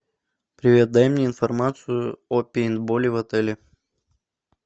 привет дай мне информацию о пейнтболе в отеле